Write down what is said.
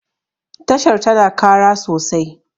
tashar tana Kara sosai